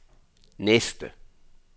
næste